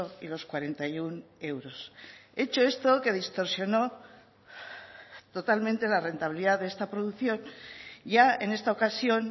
y los cuarenta y uno euros hecho esto que distorsionó totalmente la rentabilidad de esta producción ya en esta ocasión